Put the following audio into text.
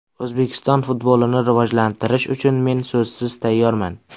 O‘zbekiston futbolini rivojlantirish uchun men so‘zsiz tayyorman.